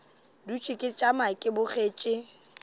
dutše ke tšama ke bogetše